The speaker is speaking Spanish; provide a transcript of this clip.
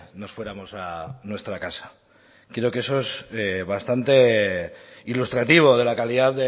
nos fuéramos a nuestra casa creo que eso es bastante ilustrativo de la calidad